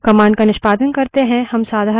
मानिए कि हमें say और दिनाँक पता करनी है